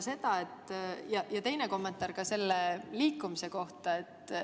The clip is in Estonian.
Teine kommentaar on inimeste liikumise kohta.